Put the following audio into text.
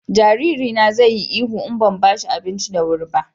jariri na zai yi ihu in ban bashi abinci da wuri ba